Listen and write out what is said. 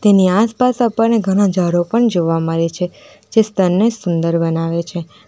એની આસપાસ આપણને ઘણા ઝાડો પણ જોવા મળે છે જે સ્તાર સુંદર બનાવે છે.